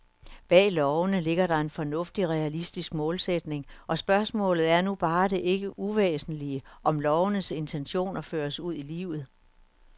Bag lovene ligger der en fornuftig, realistisk målsætning, og spørgsmålet er nu bare det ikke uvæsentlige, om lovenes intentioner føres ud i livet.